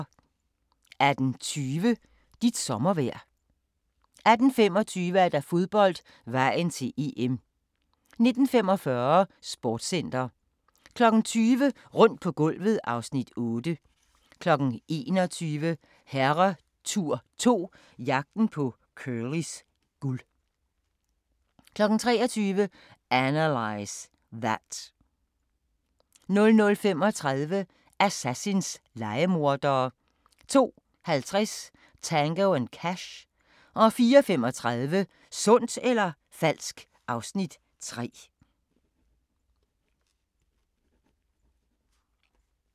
18:20: Dit sommervejr 18:25: Fodbold: Vejen til EM 19:45: Sportscenter 20:00: Rundt på gulvet (Afs. 8) 21:00: Herretur 2 – Jagten på Curlys guld 23:00: Analyze That 00:35: Assassins – lejemordere 02:50: Tango & Cash 04:35: Sundt eller falsk? (Afs. 3)